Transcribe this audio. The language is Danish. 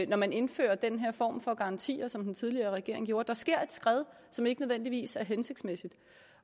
når man indfører den her form for garantier som den tidligere regering gjorde der sker et skred som ikke nødvendigvis er hensigtsmæssigt